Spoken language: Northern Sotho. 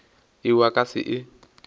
yeo a ka se e